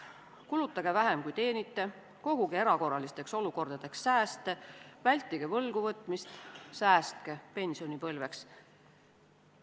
Kulutage vähem, kui teenite, koguge erakorralisteks olukordadeks sääste, vältige võlgu võtmist, säästke pensionipõlveks.